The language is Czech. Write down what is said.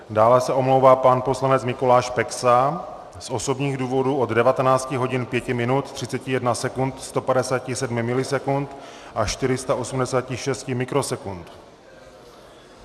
Dále se omlouvá pan poslanec Mikuláš Peksa z osobních důvodů od 19 hodin 5 minut 31 sekund 157 milisekund a 486 mikrosekund.